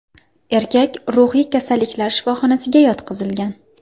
Erkak ruhiy kasalliklar shifoxonasiga yotqizilgan.